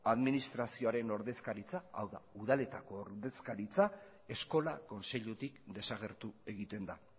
administrazioaren ordezkaritza hau da udaletako ordezkaritza eskola kontseilutik desagertu egiten da